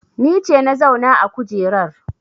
Ni ce na zauna a kujerar